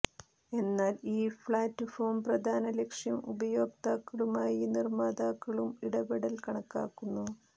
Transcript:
എന്നാൽ ഈ പ്ലാറ്റ്ഫോം പ്രധാന ലക്ഷ്യം ഉപയോക്താക്കളുമായി നിർമ്മാതാക്കളും ഇടപെടൽ കണക്കാക്കുന്നു